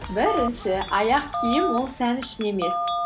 бірінші аяқ киім ол сән үшін емес